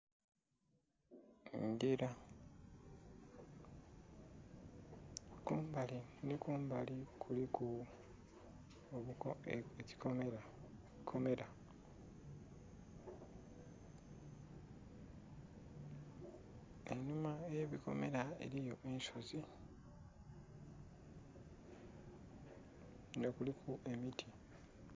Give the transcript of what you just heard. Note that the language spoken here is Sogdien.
Engila kumbali nhi kumbali kuliku ekikomera einhuma ghe bikomera eriyo ensozi nga kuliku emiti.